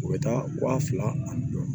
U bɛ taa wa fila ani